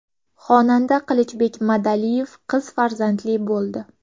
Xonanda Qilichbek Madaliyev qiz farzandli bo‘ldi.